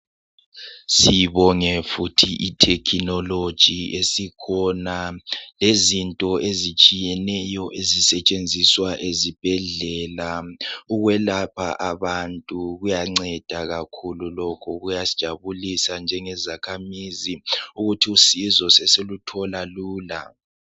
Sibonge futhi ithekhinoloji esikhona lezinto ezitshiyeneyo ezisetshenziswa ezibhedlela ukwelapha abantu. Kuyanceda kakhulu lokhu. Kuyasijabulisa njengezakhamuzi ukuthi usizo sesiluthola lula.